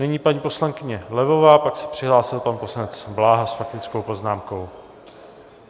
Nyní paní poslankyně Levová, pak se přihlásil pan poslanec Bláha s faktickou poznámkou.